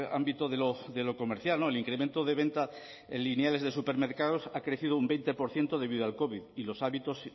ámbito de lo comercial el incremento de venta en lineales de supermercados ha crecido un veinte por ciento debido al covid y los hábitos